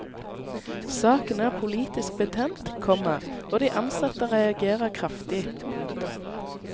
Saken er politisk betent, komma og de ansatte reagerer kraftig. punktum